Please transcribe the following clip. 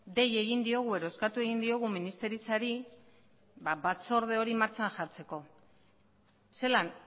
dei egin diogu edo eskatu egin diogu ministeritzari batzorde hori martxan jartzeko zelan